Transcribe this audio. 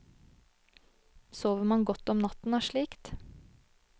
Sover man godt om natten av slikt?